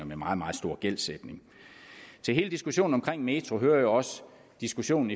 med meget meget stor gældsætning til hele diskussionen omkring metroen hører også diskussionen